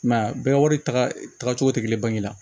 I m'a ye a bɛɛ wari taga cogo tɛ kelen bange la